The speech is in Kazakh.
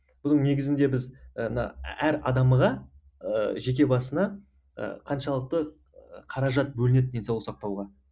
бұның негізінде біз ы мына әр адамға ы жеке басына ы қаншалықты қаражат бөлінеді денсаулық сақтауға